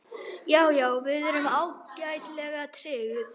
Já, já, við erum ágætlega tryggð.